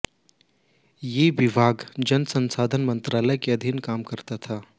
ये विभाग जल संसाधन मंत्रालय के अधीन काम करता था